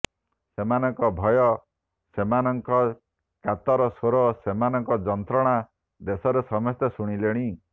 ସେମାନଙ୍କ ଭୟ ସେମାନଙ୍କ କାତର ସ୍ୱର ସେମାନଙ୍କ ଯନ୍ତ୍ରଣା ଦେଶରେ ସମସ୍ତେ ଶୁଣିଲେଣି